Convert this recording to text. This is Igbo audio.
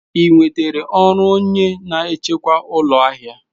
Ị nwetara ọrụ onye na-echekwa ụlọ ahịa?